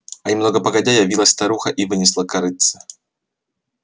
а немного погодя явилась старуха и вынесла корытце